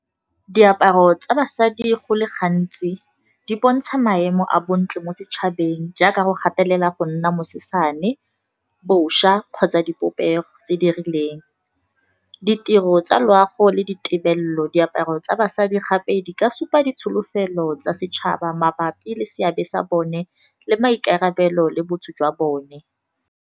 Diaparo tsa basadi go le gantsi di bontsha maemo a bontle mo setšhabeng, jaaka go gatelela go nna mosesane, bošwa kgotsa dipopego tse di rileng. Ditiro tsa loago le ditebelelo, diaparo tsa basadi gape di ka supa ditsholofelo tsa setšhaba mabapi le seabe sa bone le maikarabelo, le botho jwa bone.